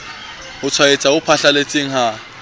ho tshwaetsa ho phatlalletseng ha